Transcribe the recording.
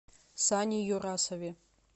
сане юрасове